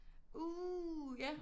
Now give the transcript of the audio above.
Uh ja